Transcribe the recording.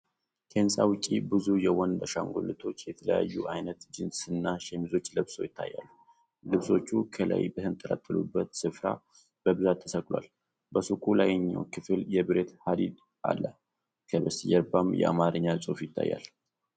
ከህንጻ ውጭ፣ ብዙ የወንድ አሻንጉሊቶች የተለያዩ አይነት ጂንስና ሸሚዞች ለብሰው ይታያሉ። ልብሶቹ ከላይ በተንጠለጠሉበት ስፍራ በብዛት ተሰቅለዋል። በሱቁ ላይኛው ክፍል የብረት ሐዲድ አለ፤ ከበስተጀርባም የአማርኛ ጽሑፍ ይታያል።